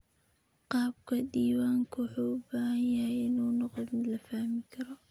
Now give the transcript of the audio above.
Qaabka diiwaanku wuxuu u baahan yahay inuu noqdo mid la fahmi karo.